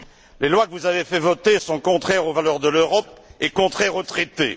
Les lois que vous avez fait voter sont contraires aux valeurs de l'Europe et contraires aux traités.